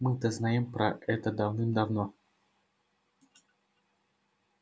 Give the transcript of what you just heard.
мы-то знаем про это давным-давно